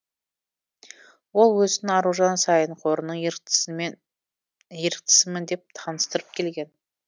ол өзін аружан саин қорының еріктісімін деп таныстырып келген